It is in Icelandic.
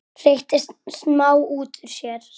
hreytti Smári út úr sér.